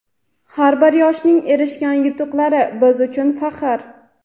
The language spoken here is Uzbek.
Har bir yoshning erishgan yutuqlari - biz uchun faxr!.